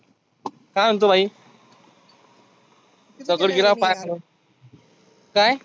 काय म्हणतो भाई? दगड गिरा पाय ठेव काय?